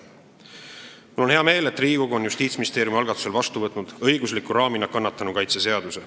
Mul on hea meel, et Riigikogu on Justiitsministeeriumi algatusel õigusliku raamina vastu võtnud kannatanu õigusi kaitsva seaduse.